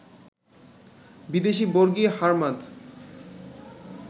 বিদেশি বর্গী, হার্মাদ